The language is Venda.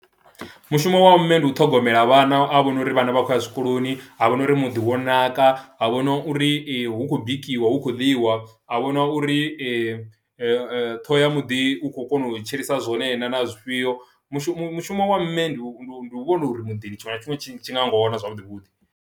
Mushumo wa mme ndi u ṱhogomela vhana a vhone uri vhana vha khou ya zwikoloni ha vhona uri muḓi wo naka, a vhona uri hu khou bikiwa hu khou ḽiwa, a vhona uri ṱhoho ya muḓi u khou kona u tshilisa zwone naa na zwifhio. Mushumo mushumo wa ndeme ndi u vhona uri muḓini tshiṅwe na tshiṅwe tshi tshi nga wana zwavhuḓi vhuḓi.